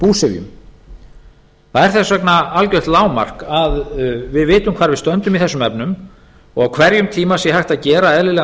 búsifjum það er þess vegna algjört lágmark að við vitum hvar við stöndum í þessum efnum og á hverjum tíma sé hægt að gera eðlilegan